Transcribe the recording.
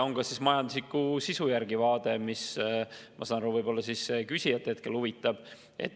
On ka majandusliku sisu järgi vaade, mis, ma saan aru, küsijat hetkel huvitab.